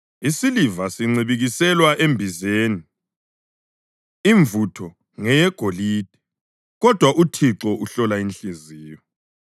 Isiliva sincibilikiselwa embizeni, imvutho ngeyegolide kodwa uThixo uhlola inhliziyo.